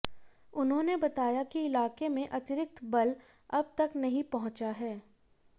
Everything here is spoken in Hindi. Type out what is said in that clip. उन्होंने बताया कि इलाके में अतिरिक्त बल अब तक नहीं पहुंचा है